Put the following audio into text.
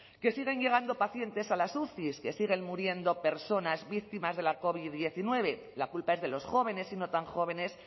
que siguen llegando pacientes a las uci que siguen muriendo personas víctimas de la covid hemeretzi la culpa es de los jóvenes y no tan jóvenes